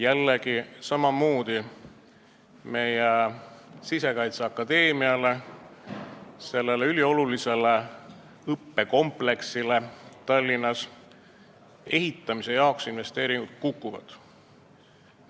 Jällegi samamoodi: meie Sisekaitseakadeemiale, sellele üliolulisele õppekompleksile Tallinnas, eraldatavad ehitusinvesteeringud kukuvad.